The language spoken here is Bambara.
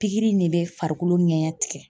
Pikiri nin bɛ farikolo ngɛɲɛn tigɛ.